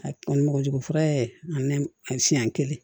A kɔni mogojugu fura ani siɲɛ kelen